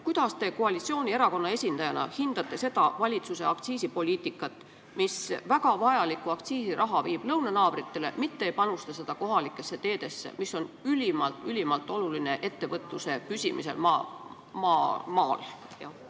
Kuidas te koalitsioonierakonna esindajana hindate valitsuse aktsiisipoliitikat, mis meile endale väga vajaliku aktsiisiraha suunab lõunanaabritele, nii et me ei saa seda panustada kohalikesse teedesse, mis on ülimalt olulised, et ettevõtlus maal püsiks?